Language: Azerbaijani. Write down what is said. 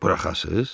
Buraxasız?